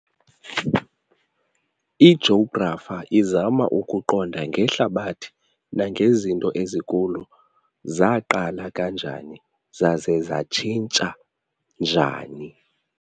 Ijografa izama ukuqonda ngeHlabathi nangezinto ezikulo, zaaqala kanjani zaza zatshintsha njani.